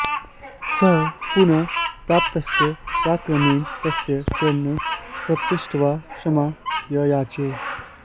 स पुनः प्रतापस्य पराक्रमेण तस्य चरणौ स्पृष्ट्वा क्षमां ययाचे